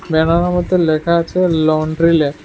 ব্যানারের মধ্যে লেখা আছে লন্ড্রি ল্যাব ।